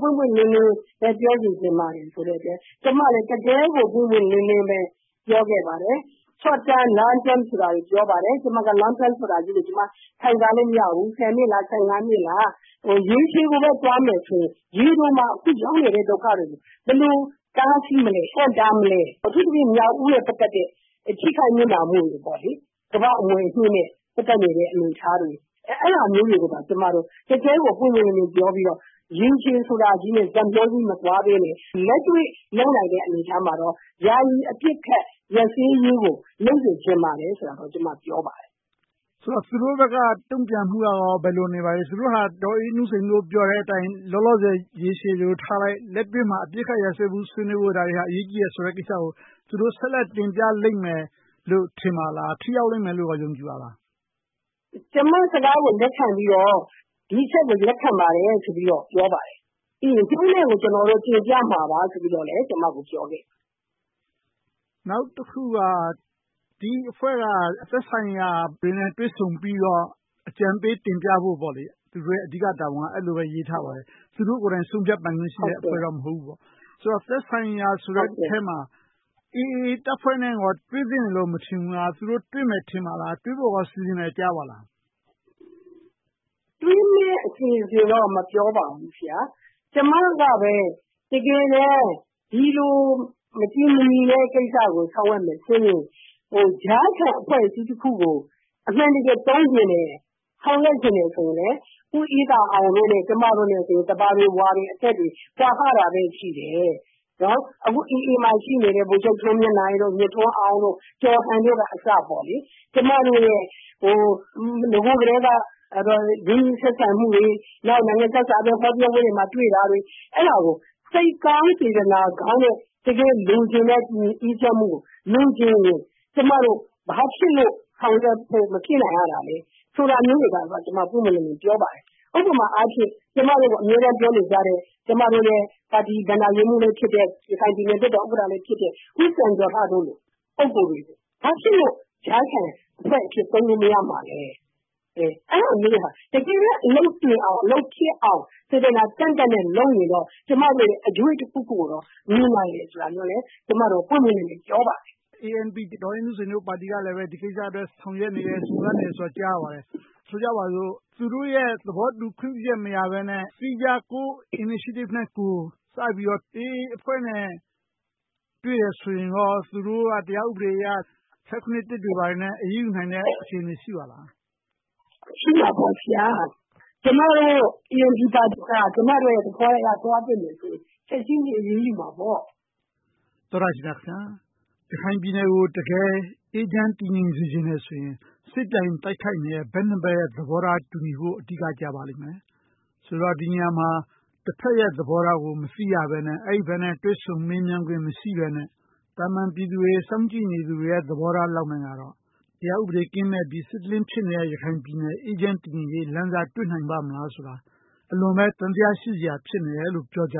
က ပွင့်ပွင့်လင်းလင်း ပြောစေချင်ပါတယ်ဆိုလို့ ကျမလည်း တကယ့်ကို ပွင့်ပွင့်လင်းလင်းပဲ ပြောခဲ့ပါတယ်။ Short-term, Long-term တွေ ပြောပါတယ်။ ကျမက Long-term ဆိုတာကြီးကို ခံစားလို့မရဘူး - ဆယ်နှစ်လား၊ ဆယ့်ငါးနှစ်လား။ ရေရှည်ကိုပဲ သွားမယ်ဆိုရင် ရေတိုမှာ အခုရောက်နေတဲ့ ဒုက္ခတွေကို ဘယ်လိုတားဆီးမလဲ။ ဟန့်တားမလဲ။ အထူးသဖြင့် မြောက်ဦးနဲ့ ပတ်သက်တဲ့ ထိခိုက်နစ်နာမှုတွေ၊ ကမ္ဘာ့အမွေအနစ်နဲ့ ပတ်သက်နေတဲ့ အနေအထားတွေ အဲဒါမျိုးတွေပါ ကျမတို့ တကယ့်ကို ပွင့်ပွင့်လင်းလင်း ပြောပြီးတော့… ဆိုတာကြီးနဲ့ ဇာတ်မျောမသွားဘဲနဲ့ လက်တွေ့လုပ်နိုင်တဲ့ အနေအထားမှာတော့ ယာယီအပစ်အခတ် ရပ်စဲရေးကို လုပ်စေချင်တာကို ကျမ ပြောပါတယ်။ သူတို့ဘက်က တုံ့ပြန်မှုက ဘယ်လိုနေပါလဲ။ သူတို့က ဒေါ်အေးနုစိန်တို့ ပြောတဲ့အတိုင်း လောလောဆယ် ရေရှည်တွေကိုထားလိုက်၊ လက်တွေ့မှာ အပစ်အခတ်ရပ်စဲဖို့ ဆွေးနွေးဖို့ဆိုတာတွေ အရေးကြီးတယ်ဆိုတဲ့ကိစ္စကို သူတို့ဆက်လက်တင်ပြလိမ့်မယ်လို့ ထင်ပါသလား။ ထိရောက်လိမ့်မယ်လို့ ယုံကြည်ပါလား။ ကျမစကားကို လက်ခံပြီးတော့ ဒီထက်ကို လက်ခံပါတယ်ဆိုပြီးတော့ ပြောပါတယ်။ ပြီးတော့ သူတို့ကို တင်ပြပါမယ်ဆိုပြီးတော့လဲ ကျမကို ပြောခဲ့တယ်။ နောက်တခုက ဒီအဖွဲ့က သက်ဆိုင်ရာတွေနဲ့ တွေ့ဆုံပြီးတော့ အကြံပေးတင်ပြဖို့ သူတို့ရဲ့ အဓိကတာဝန်ကဆိုပြီး အဲဒီလိုပဲ ရေးထားပါတယ်။ သူတို့ကိုယ်တိုင် ဆုံးဖြတ်ခွင့်ရှိတဲ့ အဖွဲ့ မဟုတ်ဘူးပေါ့။ ဆိုတော့ သက်ဆိုင်ရာဆိုတဲ့အထဲမှာ AA တပ်ဖွဲ့နဲ့ကော တွေ့သင့်တယ်လို့ မထင်ဘူးလား။ သူတို့ တွေ့မယ်ထင်ပါသလား။ တွေ့ဖို့ကော စီစဉ်တယ်လို့ ကြားပါလား။ တွေ့မယ့်အစီအစဉ်တော့ မပြောပါဘူး။ ကျမကပဲ တကယ်လို့ ဒီလိုမတည်မငြိမ်တဲ့ကိစ္စကို ဆောင်ရွက်မယ်ဆိုရင် ကြားခံအဖွဲ့အစည်းတခုကို အမှန်တကယ် သုံးချင်တယ်။ ဆောင်ရွက်ချင်တယ်ဆိုရင် ဦးအေးသာအောင်တို့နဲ့ ကျမတို့ သဘာတွေ၊ ဝါတွေ၊ အခက်တွေ ကွာဟတာပဲရှိတယ် အခု AA မှာ ရှိနေတဲ့ ဗိုလ်ချုပ်ထွန်းမြင့်နိုင်၊ မြင့်ထွန်းအောင်၊ ကျော်ဟန်တို့အစ ကျမတို့ရဲ့ နဂိုကတည်းက ရင်းနှီးဆက်ဆံမှုတွေ၊ နောက်စာပေဟောပြောမှုတွေမှာ တွေ့တာတွေကို စိတ်ကောင်းစေတနာကောင်းနဲ့ တကယ် တည်ငြိမ်အေးချမ်းမှုကို လိုချင်တယ်။ ကျမတို့ ဘာဖြစ်လို့ ဆောင်ရွက်ဖို့ မဖြစ်နိုင်ရတာလဲ ဆိုတာမျိုးတွေကအစ ကျမ ပွင့်ပွင့်လင်းလင်း ပြောပါတယ်။ ဥပမာအားဖြင့် ကျမတို့လို အမြဲတမ်းပြောနေကြတဲ့ ကျမတို့ပါတီ ဘဏ္ဍာရေးမှုးလည်းဖြစ်တဲ့၊ ရခိုင်ပြည်နယ်လွှတ်တော်ဥက္ကဋ္ဌလည်းဖြစ်တဲ့ ဦးစံကျော်လှတို့လို ပုဂ္ဂိုလ်တွေကို ဘာဖြစ်လို့ ကြားခံအဖွဲ့အဖြစ် သုံးလို့မရမှာလဲ။ အဲဒါမျိုးတွေက နဂိုကတည်းက အလုပ်တွင်အောင်၊ အလုပ်ဖြစ်အောင် စေတနာသန့်သန့်နဲ့ လုပ်ရင်တော့ ကျမတို့ အရွေ့တခုခုကို မြင်နိုင်တယ်ဆိုတာမျိုးလည်း ကျမတို့ ပွင့်ပွင့်လင်းလင်း ပြောပါတယ်။ ANP ဒေါ်အေးနုစိန်တို့ ပါတီကလဲ ဒီကိစ္စအတွက် ဆောင်ရွက်နေတယ်ဆိုတာကို ကြားသိရပါတယ်။ ဆိုကြပါစို့ သူတို့ရဲ့ သဘောတူညီ၊ ခွင့်ပြုချက်မရဘဲနဲ့ သီးခြား ကိုယ့် Initiative နဲ့ စပြီးတော့ AA အဖွဲ့နဲ့ တွေ့တယ်ဆိုရင်ကော သူတို့ တရားဥပဒေတွေအရ ) တွေနဲ့ အရေးယူနိုင်တဲ့ အခြေအနေ ရှိပါသလား။ ရှိတာပေါ့။ ကျမတို့ ANP ပါတီက သွားတွေ့မယ်ဆိုရင် ချက်ချင်းအရေးယူမှာပေါ့။ သောတရှင်များခင်များ… ရခိုင်ပြည်နယ်ကို တကယ်အေးချမ်းတည်ငြိမ်စေချင်တယ်ဆိုရင် စစ်ပြိုင်တိုက်ခိုက်နေတဲ့ ဘက်နှစ်ဘက် သဘောထားတူညီဖို့ အဓိကကျပါလိမ့်မယ်။ ဆိုတော့ ဒီနေရာမှာ တဘက်ရဲ့ သဘောထားကို မသိရဘဲနဲ့ အဲဒီဘက်နဲ့ တွေ့ဆုံမေးမြန်းခွင့် မရှိဘဲနဲ့ သာမန်ပြည်သူတွေ၊ စောင့်ကြည့်နေသူတွေရဲ့ သဘောထားလောက်နဲ့တော့ တရားဥပဒေ ကင်းမဲ့ပြီး စစ်တလင်းဖြစ်နေတဲ့ ရခိုင်ပြည်နယ် အေးချမ်းတည်ငြိမ်ရေး လမ်းစ တွေ့နိုင်ပါ့မလားဆိုတာ အလွန်ပဲ သံသယ ရှိစရာ ဖြစ်နေတယ်လို့ ပြောကြ